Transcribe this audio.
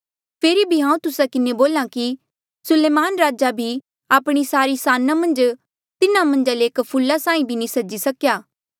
फेरी भी हांऊँ तुस्सा किन्हें बोल्हा कि सुलेमान राजे भी आपणे सारी साना मन्झ तिन्हा मन्झा ले एक फूला साहीं भी नी सजी सकेया